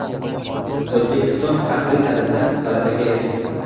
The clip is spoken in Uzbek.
O‘zbekiston haqli tarzda g‘alabaga erishdi.